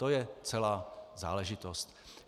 To je celá záležitost.